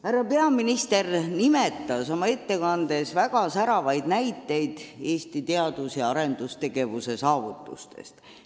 Härra peaminister tõi oma ettekandes väga säravaid näiteid Eesti teadus- ja arendustegevuse saavutustest.